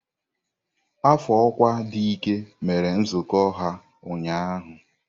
Afọ ọkwa dị ike mere nzukọ ha ụnyaahụ.